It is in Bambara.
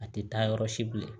A tɛ taa yɔrɔ si bilen